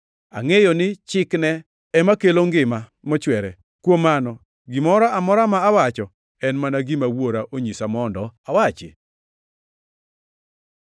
Angʼeyo ni chikne ema kelo ngima mochwere. Kuom mano, gimoro amora ma awacho en mana gima Wuora onyisa mondo awachi.”